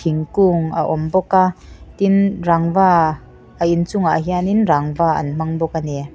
thingkung a awm bawka tin rangva a inchungah hianin rangva an hmang bawk ani.